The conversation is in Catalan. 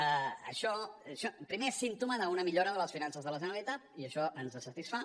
això primer és símptoma d’una millora de les finances de la generalitat i això ens satisfà